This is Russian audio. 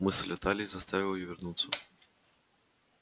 мысль о талии заставила её вернуться